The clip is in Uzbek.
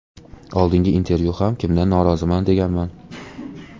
Oldingi intervyuda ham kimdan noroziman deganman.